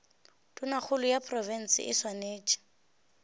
tonakgolo ya profense e swanetše